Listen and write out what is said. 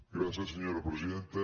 gràcies senyora presidenta